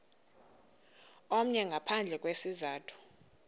omnye ngaphandle kwesizathu